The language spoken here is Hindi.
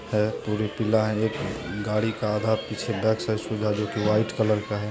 अ पूरे किला है एक गाड़ी का आधा पीछे जो की व्हाइट कलर का है।